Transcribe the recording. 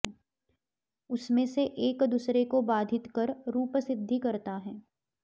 उसमें से एक दूसरे को बाधित कर रूप सिद्धि करता है